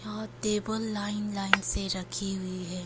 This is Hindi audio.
वहां टेबल लाइन लाइन से रखी हुई है।